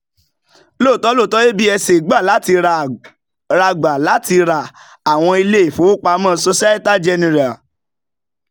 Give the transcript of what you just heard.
lotò absa gbà láti ra gbà láti ra àwọn ilé ìfowópamọ́ societe generale